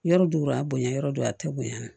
Yɔrɔ do yɔrɔ a bonyan yɔrɔ do a tɛ bonya na